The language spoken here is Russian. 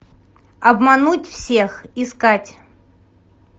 обмануть всех искать